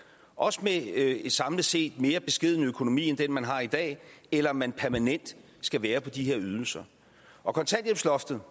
også med en samlet set mere beskeden økonomi end den man har i dag eller om man permanent skal være på de her ydelser og kontanthjælpsloftet